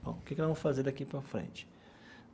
Bom, o que que nós vamos fazer daqui para frente?